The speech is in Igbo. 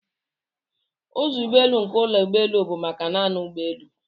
Ụzọ ụgbọelu nke ụlọ ụgbọelu bụ maka naanị ụgbọelu.